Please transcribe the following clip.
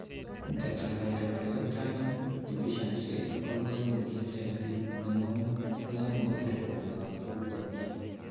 Tetrahydrobiopterin deficiency ko koimutiet en orit nemong'u yon mobir borto omitwokik komie.